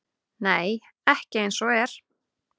Nei, ekki eins og er.